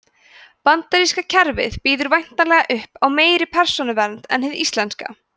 bandaríska kerfið býður væntanlega upp á meiri persónuvernd en hið íslenska